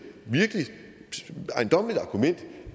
virkelig ejendommeligt argument